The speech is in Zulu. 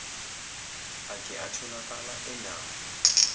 ake atholakala enawo